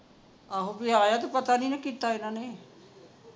ਆਹੋ ਜੇ ਆਇਆ ਤਾਂ ਪਤਾ ਨਹੀਂ ਨਾ ਕੀਤਾ ਇਹਨਾਂ ਨੇ